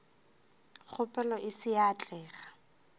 kgopelo e se ya atlega